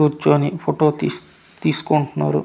కూర్చొని ఫోటో తీస్ తీసుకుంటున్నారు.